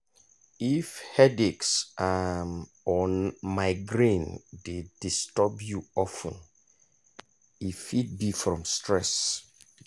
if headaches um or migraine dey disturb you of ten e fit be from stress.